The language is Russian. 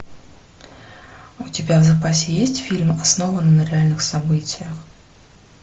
у тебя в запасе есть фильм основано на реальных событиях